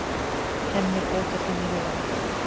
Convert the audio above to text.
Hemmi blótar þeim í huganum.